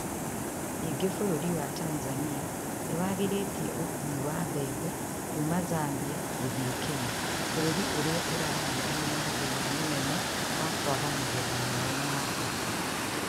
Ningĩ bũrũri wa Tanzania nĩ wagirĩtie ũkuui wa bebe kuuma Zambia gũthiĩ Kenya, bũrũri ũrĩa ũrahiũrania na thĩna mũnene wa kwaga magetha mao ma bata